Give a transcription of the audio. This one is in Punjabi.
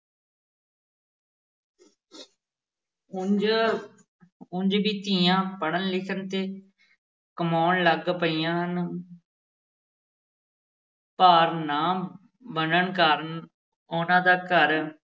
ਉੰਞ ਉੰਞ ਵੀ ਧੀਆਂ ਪੜ੍ਹਨ-ਲਿਖਣ ਤੇ ਕਮਾਉਣ ਲੱਗ ਪਈਆਂ ਹਨ ਭਾਰ ਨਾ ਬਣਨ ਕਾਰਨ ਉਹਨਾਂ ਦਾ ਘਰ